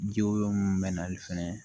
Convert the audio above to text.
Jo mun bɛ na fɛnɛ